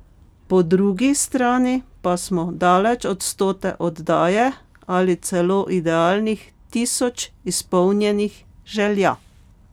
Po drugi strani pa smo daleč od stote oddaje ali celo idealnih tisoč izpolnjenih želja ...